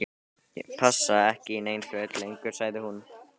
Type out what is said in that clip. Ég passa ekki í nein föt lengur- sagði hún.